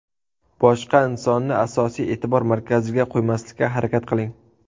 Boshqa insonni asosiy e’tibor markaziga qo‘ymaslikka harakat qiling.